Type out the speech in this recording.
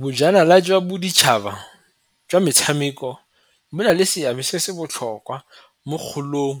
Bojanala jwa boditšhaba jwa metshameko bo na le seabe se se botlhokwa mo kgolong